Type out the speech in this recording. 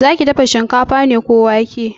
Zaki dafa shinkafa ne ko wake?